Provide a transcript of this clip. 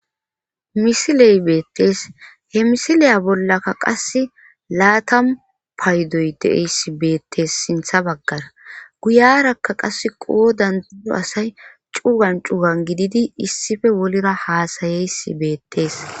misiley beettees he misiliya bollakka qase laatamu paydoy deeyssi beettees sintha baggara guyarakka qase qoodando asay cuugan cugan gididi issife wolira haasayeysi beettees